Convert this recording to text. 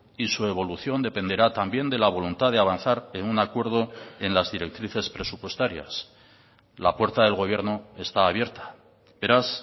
y su evolución dependerá también de la voluntad de avanzar en un acuerdo en las directrices presupuestarias la puerta del gobierno está abierta beraz